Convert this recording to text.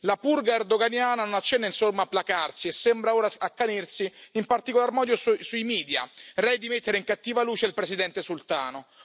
La purga erdoganiana non accenna insomma a placarsi e sembra ora accanirsi in particolar modo sui media, rei di mettere in cattiva luce il presidente sultano.